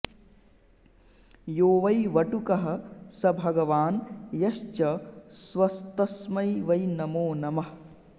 यो वै वटुकः स भगवान् यश्च स्वस्तस्मै वै नमो नमः